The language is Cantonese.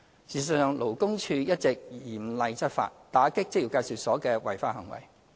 事實上，勞工處一直嚴厲執法，打擊職業介紹所的違法行為。